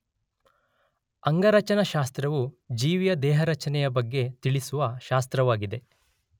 ಅಂಗರಚನಾಶಾಸ್ತ್ರವು ಜೀವಿಯ ದೇಹರಚನೆಯ ಬಗ್ಗೆ ತಿಳಿಸುವ ಶಾಸ್ತ್ರವಾಗಿದೆ.